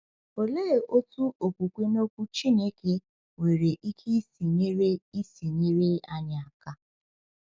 Olee otu okwukwe n’Okwu Chineke nwere ike isi nyere isi nyere anyị aka?